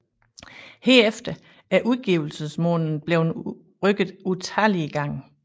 Herefter er udgivelsesmåneden blevet rykket utallige gange